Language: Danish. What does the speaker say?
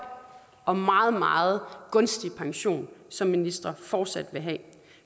og meget meget gunstig pension som ministre fortsat vil have